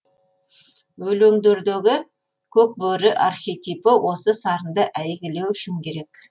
өлеңдердегі көк бөрі архетипі осы сарынды әйгілеу үшін керек